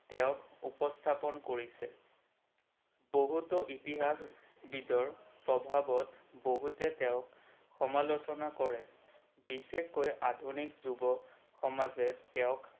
তেওক উপস্থাপন কৰিছে। বহুতো ইতিহাসবিদৰ প্ৰভাৱত বহুতে তেওক সমালোচনা কৰে বিশেষকৈ আধুনিক যুৱ সমাজে তেওক